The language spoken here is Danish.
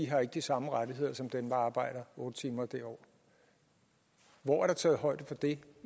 har de samme rettigheder som dem der arbejder otte timer og derover hvor er der taget højde for det